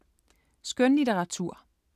Skønlitteratur